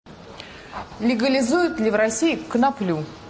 легализуют ли в россии коноплю